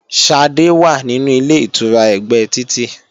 Ṣadé wà nínú Ilé-ìtura ẹ̀gbẹ́ títì